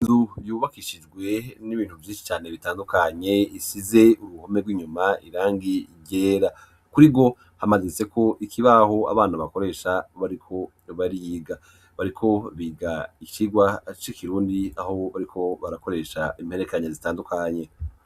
Du yubakishijwe n'ibintu vy'inshi cane bitandukanye isize uruhome bw'inyuma irangi igera kuri ro hamazitseko ikibaho abana bakoresha bariko bariga bariko biga ikirwa aco ikirundi aho bariko barakoresha imperekanya zitandukanye.